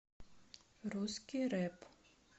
русский рэп